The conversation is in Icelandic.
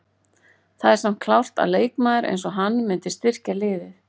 Það er samt klárt að leikmaður eins og hann myndi styrkja liðið.